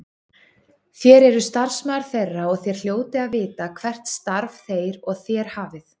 Þér eruð starfsmaður þeirra og þér hljótið að vita hvert starf þeir og þér hafið.